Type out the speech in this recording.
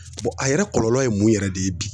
a yɛrɛ kɔlɔlɔ ye mun yɛrɛ de ye bi?